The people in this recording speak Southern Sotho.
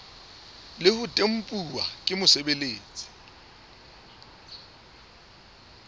le ho tempuwa ke mosebeletsi